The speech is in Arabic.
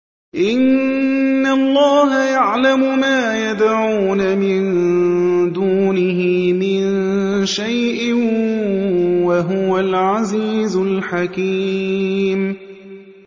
إِنَّ اللَّهَ يَعْلَمُ مَا يَدْعُونَ مِن دُونِهِ مِن شَيْءٍ ۚ وَهُوَ الْعَزِيزُ الْحَكِيمُ